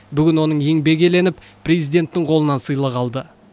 бүгін оның еңбегі еленіп президенттің қолынан сыйлық алды